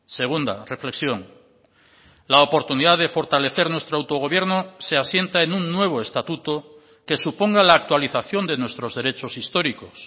segunda reflexión la oportunidad de fortalecer nuestro autogobierno se asienta en un nuevo estatuto que suponga la actualización de nuestros derechos históricos